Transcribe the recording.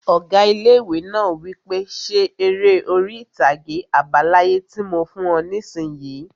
Ọgá ilé-ìwé náà wí pé 'Ṣe eré orí-ìtàgé àbá láyé tí mo fún ọ nisinyi!